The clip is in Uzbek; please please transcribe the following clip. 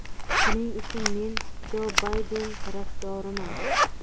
Shuning uchun men Jo Bayden tarafdoriman.